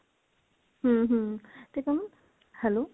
ਹਮ ਹਮ ਤੇ ਕਮਲ hello